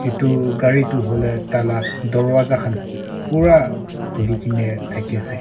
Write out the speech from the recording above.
etu gari tu hoile tah lah darwaja khan pura khuli ke ne thake ase.